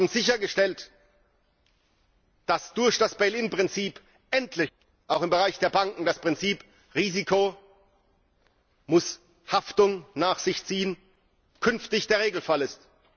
Wir haben sichergestellt, dass durch das Bail Inn Prinzip endlich auch im Bereich der Banken das Prinzip Risiko muss Haftung nach sich ziehen künftig der Regelfall ist.